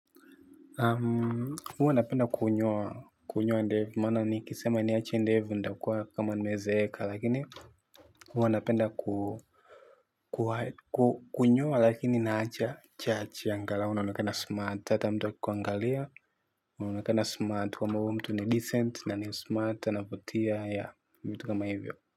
Huwa napenda kunyoa ndevu kwa sababu ni kisema nikiziacha ndevu nakuwa kama nimezeeka. Lakini huwa anapenda kunyoa, lakini naacha kidogo angalau unaonekana smart, ata mtu akikuangalia. Unaonekana smart, kwamba huyu mtu ni decent na ni smart, anavutia, yeah, vitu kama hivyo.